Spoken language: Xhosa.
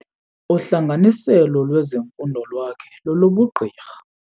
Uhlanganiselo lwezifundo lwakhe lolobugqirha.